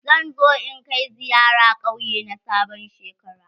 Zan zo in kai ziyara ƙauye na sabon shekara.